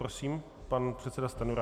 Prosím, pan předseda Stanjura.